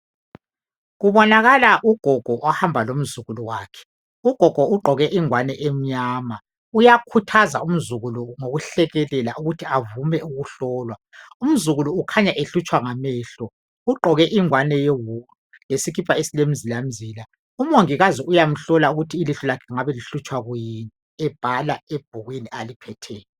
Kubonakala ugogo ohamba lomzukulu wakhe ugogo ugqoke igwani emnyama uyakhuthaza umzukulu ngokuhlekelela ukuthi avume ukuhlolwa umzukulu ukhanya ehlutshwa ngamehlo ugqoke igwane yewulu lesikipa esilemzilamzila umongakazi uyamhlola ukuthi ilihlo lakhe lingabi lihlutshwa kuyini ebhala ebhukwini aliphetheyo.